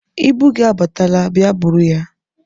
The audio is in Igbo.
Ibu gị abatala, bịa buru ya.